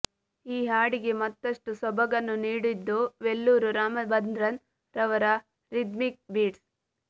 ಈ ಹಾಡಿಗೆ ಮತ್ತಷ್ಟು ಸೊಬಗನ್ನು ನೀಡಿದ್ದು ವೆಲ್ಲೂರ್ ರಾಮಭದ್ರನ್ ರವರ ರಿದ್ಮಿಕ್ ಬೀಟ್ಸ್